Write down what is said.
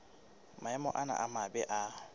maemo ana a mabe a